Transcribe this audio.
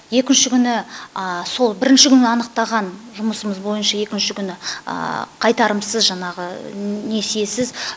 екінші күні сол бірінші күні анықтаған жұмысымыз бойынша екінші күні қайтарымсыз жаңағы несиесіз